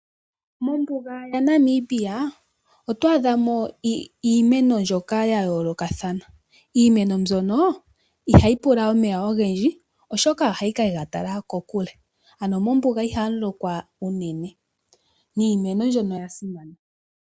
Mombuga yaNamibia otwa adha mo iimeno mbyoka ya yoolokathana, iimeno mbino ihayi pula omeya ogendji oshoka ohayi kega tala kokule mombuga ihamu lokwa unene niimeno mboka oya simana.